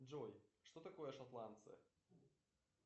джой что такое шотландцы